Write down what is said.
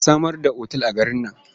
A samar da otal a garin nan.